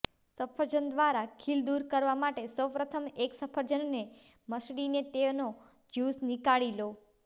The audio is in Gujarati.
સફરજન દ્વારા ખીલ દૂર કરવા માટે સૌ પ્રથમ એક સફરજનને મસળીને તેનો જ્યૂસ નીકાળી લો